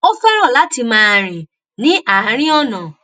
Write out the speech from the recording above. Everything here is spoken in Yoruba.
ó féràn láti máa rìn ní àárín ònà